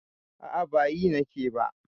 A'a, ba yi nake ba.